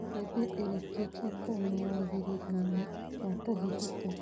Mbembe ĩrĩkĩtie kuma wagĩrĩru-inĩ wa kũhĩhĩka.